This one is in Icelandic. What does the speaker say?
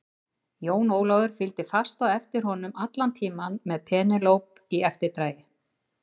Jón Ólafur fylgdi fast á eftir honum allan tímann með Penélope í eftirdragi.